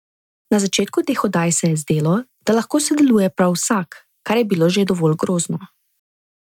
Na začetku teh oddaj se je zdelo, da lahko sodeluje prav vsak, kar je bilo že dovolj grozno!